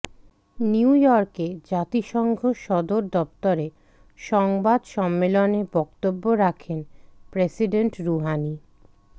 new ইয়র্কে জাতিসংঘ সদর দপ্তরে সংবাদ সম্মেলনে বক্তব্য রাখেন প্রেসিডেন্ট রুহানি